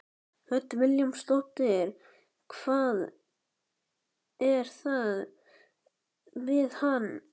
Hödd Vilhjálmsdóttir: Hvað er það við hann?